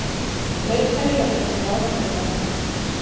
Veikari löggæsla á Vesturlandi